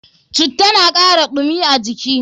Citta na kara ɗumi a jiki.